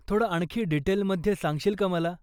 थोडं आणखी डिटेलमध्ये सांगशील का मला?